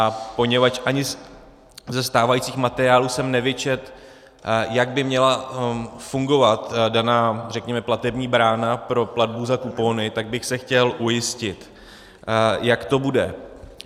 A poněvadž ani ze stávajících materiálů jsem nevyčetl, jak by měla fungovat daná, řekněme, platební brána pro platbu za kupony, tak bych se chtěl ujistit, jak to bude.